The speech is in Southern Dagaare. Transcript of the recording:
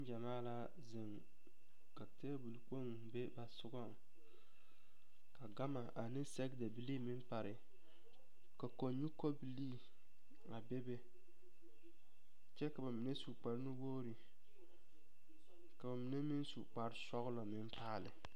Neŋgyɛmaa la zeŋ ka teebol kpoŋ be ba sogɔŋ ka gama ane sɛgedabilii meŋ pare ka kɔnyu kɔbilii a bebe kyɛ ka bamine su kpare nu-wogiri ka bamine meŋ su kpare sɔgelɔ meŋ paale.